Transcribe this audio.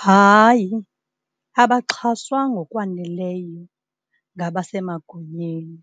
Hayi, abaxhaswa ngokwaneleyo ngabasemagunyeni.